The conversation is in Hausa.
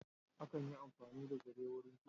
Akan yi amfani da zare wurin kitso.